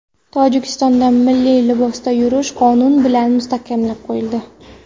Tojikistonda milliy libosda yurish qonun bilan mustahkamlab qo‘yildi.